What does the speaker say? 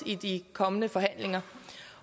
i de kommende forhandlinger